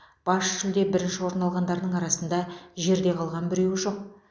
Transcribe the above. бас жүлде бірінші орын алғандарының арасында жерде қалған біреуі жоқ